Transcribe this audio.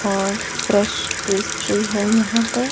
और fresh pastry है यहां पर।